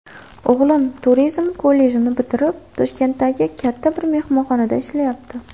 O‘g‘lim turizm kollejini bitirib, Toshkentdagi katta bir mehmonxonada ishlayapti.